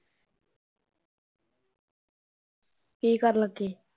ਕੀ ਕਰਨ ਲੱਗੇ